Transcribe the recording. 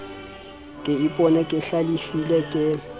ke ipona ke hlalefile ke